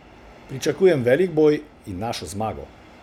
Pričakujem velik boj in našo zmago.